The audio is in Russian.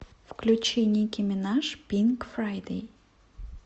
включи ники минаж пинк фрайдей